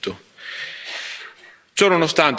Un grave e chiaro fallimento.